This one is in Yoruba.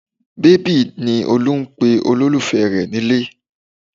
Bébì ni Olú ń pe olólùfẹ́ rẹ̀ nílé